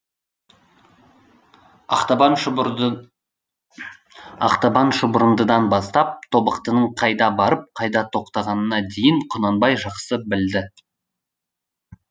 ақтабан ақтабан шұбырындыдан бастап тобықтының қайда барып қайда тоқтағанына дейін құнанбай жақсы білді